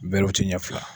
Bɛrɛw tɛ ɲɛ fila